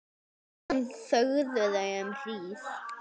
Síðan þögðu þau um hríð.